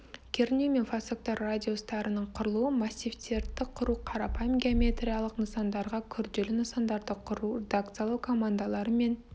кернеу мен фасоктар радиустарының құрылуы массивтерді құру қарапайым геометриялық нысандарға күрделі нысандарды құру редакциялау командалары мен